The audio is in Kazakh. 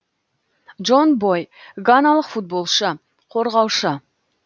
джон бой ганалық футболшы қорғаушы